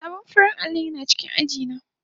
Sabon farar allo yana cikin aji na.